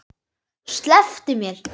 Slepptu mér!